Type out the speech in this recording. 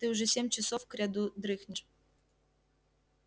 ты уже семь часов кряду дрыхнешь